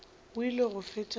o ile go fetša go